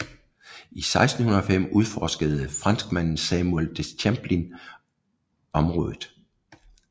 I 1605 udforskede franskmanden Samuel de Champlain området